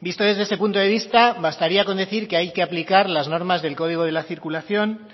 visto desde ese punto de vista bastaría con decir que hay que aplicar las normas del código de la circulación